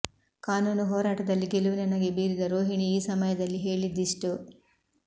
ಕಾನೂನು ಹೋರಾಟದಲ್ಲಿ ಗೆಲುವಿನ ನಗೆ ಬೀರಿದ ರೋಹಿಣಿ ಈ ಸಮಯದಲ್ಲಿ ಹೇಳಿದ್ದಿಷ್ಟು